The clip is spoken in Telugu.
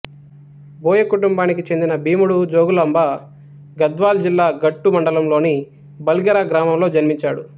బోయ కుటుంబానికి చెందిన భీముడు జోగులాంబ గద్వాల జిల్లా గట్టు మండలంలోని బల్గెర గ్రామంలో జన్మించాడు